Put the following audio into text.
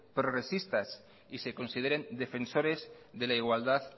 progresistas y se consideren defensores de la igualdad